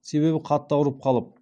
себебі қатты ауырып қалып